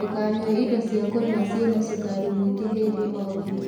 Ndukanyue indo cia kũnyua ciĩna cukari mũingĩ hĩndĩ o hĩndĩ